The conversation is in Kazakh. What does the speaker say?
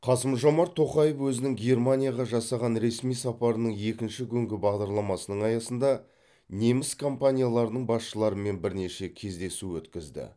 қасым жомарт тоқаев өзінің германияға жасаған ресми сапарының екінші күнгі бағдарламасының аясында неміс компанияларының басшыларымен бірнеше кездесу өткізді